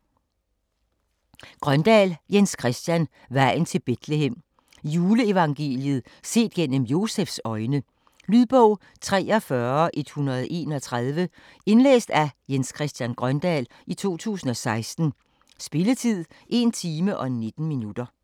Grøndahl, Jens Christian: Vejen til Betlehem Juleevangeliet set gennem Josefs øjne. Lydbog 43131 Indlæst af Jens Christian Grøndahl, 2016. Spilletid: 1 time, 19 minutter.